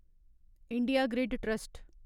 India grid trust